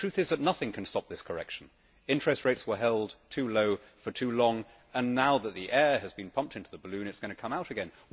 The truth is that nothing can stop this correction interest rates were held too low for too long and now that the air has been pumped into the balloon, it is going to come out again.